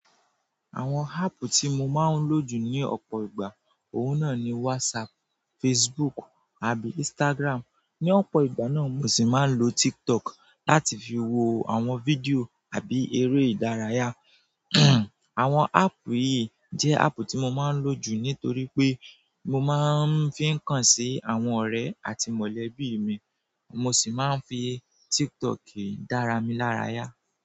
Àwọn áápù tí mo máa ń lò jù ní ọ̀pọ̀ ìgbà, òun náà ni WhatsApp, Facebook àbí Instagram. Ní ọ̀pọ̀ ìgbà náà mo sì máa ń lo TikTok láti fi wo àwọn fídíò àbí eré ìdárayá. Àwọn áápù yìí jẹ́ áápù tí mo máa ń lò jù nítorí pé mo máa ń fi ń kàn sí àwọn ọ̀rẹ́ àti mọ̀lẹ́bí mi, mo sì máa ń fi TikTok dára mi lára yá.